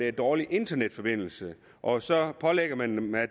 er dårlig internetforbindelse og så pålægger man dem at